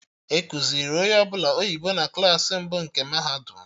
Ekuziri onye ọbụla oyibo na Klassị mbụ nke mahadum